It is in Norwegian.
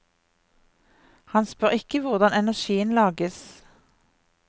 Han spør ikke hvordan energien lages.